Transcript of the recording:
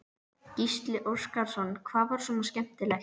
Gísli Óskarsson: Hvað var svona skemmtilegt?